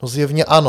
No zjevně ano.